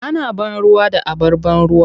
Ana ban ruwa da abar ban ruwa.